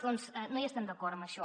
doncs no hi estem d’acord en això